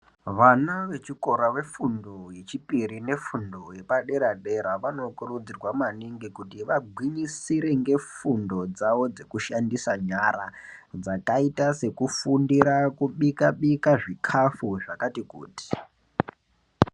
Vana vechikora vefundo yechipiri nefundo yepadera dera vanokurudzirwa maningi kuti vagwinyisire ngefundo dzavo dzekushandisa nyara dzakaita sekufundira kubikabika zvikafu zvakati kuti.